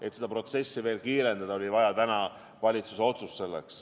Et seda protsessi veel kiirendada, oli vaja täna valitsuse otsust.